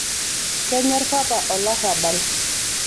kenyor papa olarabal